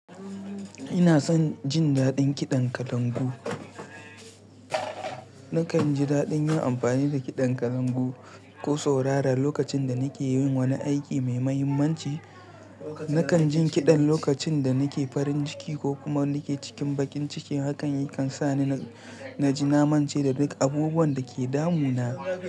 Ina son jin daɗin kiɗan kalangu. Nakan ji daɗin yin amfani da kiɗan kalangu ko saurara lokacin da nake yin wani aiki mai mahimmanci. Nakan jin kiɗan lokacin da nake farin ciki ko kuma nake cikin bakin ciki hakan yakan sani na ji namance da duk abubuwan da ke damuna.